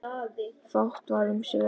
Fátt varð um svör.